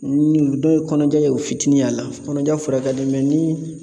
Ni dɔ ye kɔnɔja ye u fitinin y'a la kɔnɔja fura ka di ni